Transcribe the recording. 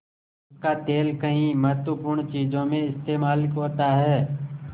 उसका तेल कई महत्वपूर्ण चीज़ों में इस्तेमाल होता है